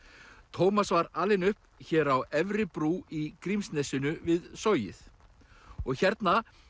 Tómas var alinn upp hér á Efri brú í Grímsnesinu við Sogið og hérna